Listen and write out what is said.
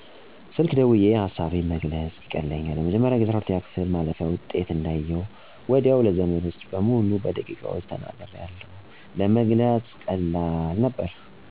በስልክ ደውየ ሀሳቤን መግለፅ ይቀለኛል። ለመጀመሪያ ጊዜ 12ኛ ክፍል ማለፊያ ውጤት እንዳየሁ ወዲያው ለዘመዶቸ በሙሉ በደቂቃዎች ተናግሪያለሁ። ለመግለፅ ቀላል ነበር።